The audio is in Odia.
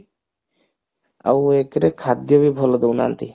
ଆଉ ଏକେରେ ଖାଦ୍ଯ ବି ଭଲ ଦଉ ନାହାନ୍ତି